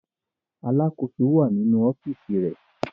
Alákòóso wà ní inú ọ́fíísì rẹ̀.